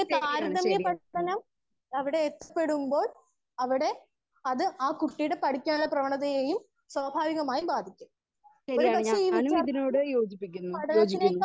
Speaker 2 ശരിയാണ് ശരിയാണ് ശരിയാണ് ഞാനും ഇതിലൂടെ യോജിപ്പിക്കുന്നു യോജിക്കുന്നു.